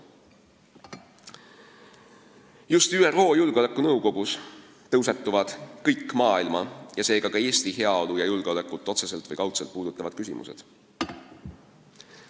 Just ÜRO Julgeolekunõukogus tõusetuvad kõik maailma, seega ka Eesti heaolu ja julgeolekut otseselt või kaudselt puudutavad küsimused.